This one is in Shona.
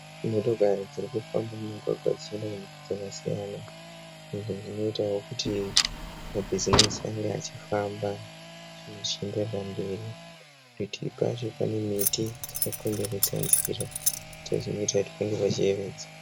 Motokari dziri kufamba mumugwagwa dzichienda kunzvimbo dzakasiyana izvi zvinoitawo kuti mabhizimisi ange achifamba zvinhu zvichienderera mberi parutivi pacho pane miti yakakomberedza nzira zvinoita kuti pange pachiyewedza